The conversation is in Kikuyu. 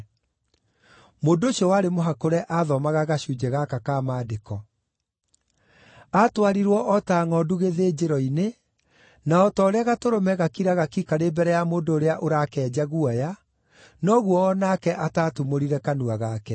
Mũndũ ũcio warĩ mũhakũre aathomaga gacunjĩ gaka ka Maandĩko: “Aatwarirwo o ta ngʼondu gĩthĩnjĩro-inĩ, na o ta ũrĩa gatũrũme gakiraga ki karĩ mbere ya mũndũ ũrĩa ũrakenja guoya, noguo o nake ataatumũrire kanua gake.